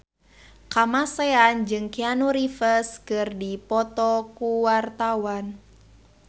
Kamasean jeung Keanu Reeves keur dipoto ku wartawan